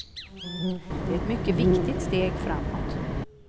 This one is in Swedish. Det är ett mycket viktigt steg framåt.